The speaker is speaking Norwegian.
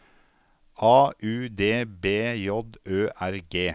A U D B J Ø R G